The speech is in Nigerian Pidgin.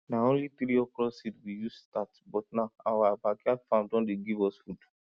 na only three okro seed we use start but now our backyard farm don dey give us food